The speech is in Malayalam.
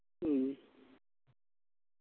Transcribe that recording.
ഉം